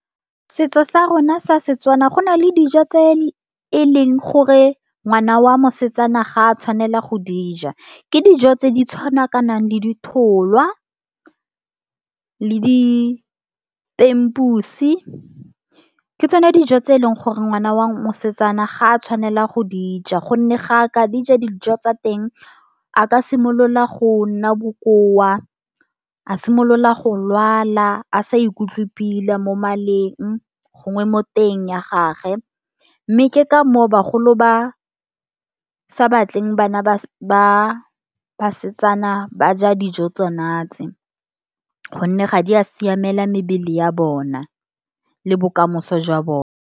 Setso sa rona sa Setswana, go na le dijo tse e leng gore ngwana wa mosetsana ga a tshwanela go dija, ke dijo tse di tshwanakanang le ditholwa le dipempusi, ke tsone dijo tse e leng gore ngwana wa mosetsana ga a tshwanela go dijo, gonne ga ka dija, dijo tsa teng, a ka simolola go nna bokoa, a simolola go lwala a sa ikutlwe pila mo maleng, gongwe mo teng ya gage. Mme, ke ka moo bagolo ba sa batleng bana ba basetsana ba ja dijo tsona tse, gonne ga di a siamela mebele ya bona le bokamoso jwa bona.